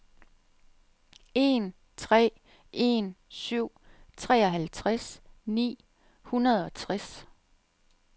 en tre en syv treoghalvtreds ni hundrede og tres